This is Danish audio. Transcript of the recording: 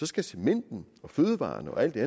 skal cementen og fødevarerne og alt det